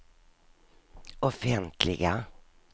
offentliga